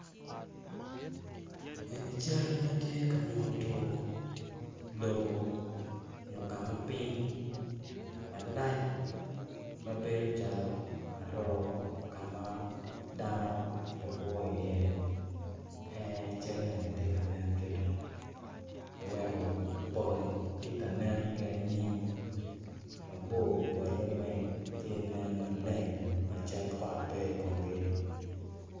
Eni cal ma tye ka nyuto lobo nyo ka ma piny malc ma bedo calo aroo ka ma dano oe kwo iye en aye cal eni tye ka nen kito oweko pol tye ka nen ki anyim mabor polle weng tye nen maleng ma cal kot pe i komgi.